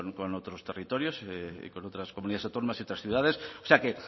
con otros territorios y con otras comunidades autónomas y otras ciudades o sea que